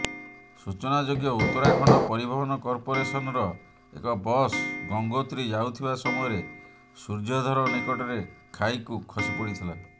ସୂଚନା ଯୋଗ୍ୟ ଉତ୍ତରାଖଣ୍ଡ ପରିବହନ କର୍ପୋରେସନର ଏକ ବସ୍ ଗଙ୍ଗୋତ୍ରୀ ଯାଉଥିବା ସମୟରେ ସୂର୍ୟ୍ୟଧର ନିକଟରେ ଖାଇକୁ ଖସିପଡିଥିଲା